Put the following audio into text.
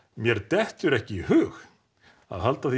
mér dettur ekki í hug að halda því